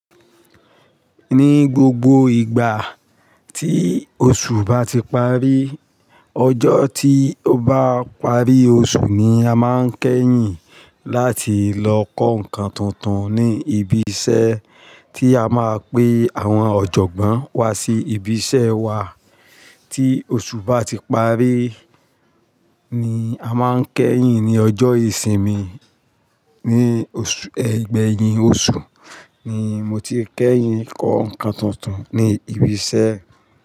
Ni gbogbo ìgbà tí oṣù bá ti parí, ọjọ́ tí ó bá parí oṣù ni a máa ń kẹ́yìn láti lọ kọ́ nǹkan tuntun ní ibi iṣẹ́ tí a máa pe àwọn ọ̀jọ̀gbọ́n wá sí ibi iṣẹ́ wa. Tí oṣù bá ti parí ni a máa ń kẹ́yìn ní ọjọ́ ìsinmi. Ni ọṣù, igbeyin oṣù ni mo ti kẹ́yìn kọ́ nǹkan tuntun ní ibi iṣẹ́.